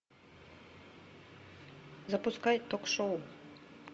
запускай ток шоу